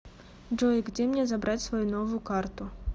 джой где мне забрать свою новую карту